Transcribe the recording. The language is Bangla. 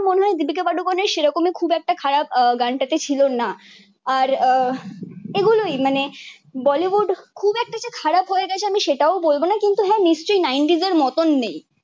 মানে সেরকম ই খুব একটা খারাপ গানটা তে ছিল না আর এই গুলোই মানে বলিউড খুব একটা যে খারাপ হয়ে গাছে আমি সেটাও বলবো না কিন্তু হা নিশ্চই নাইন্টিজের মতো নেই